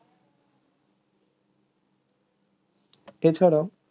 এছাড়া